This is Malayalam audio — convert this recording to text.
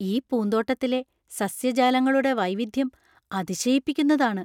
ഈ പൂന്തോട്ടത്തിലെ സസ്യജാലങ്ങളുടെ വൈവിധ്യം അതിശയിപ്പിക്കുന്നതാണ്.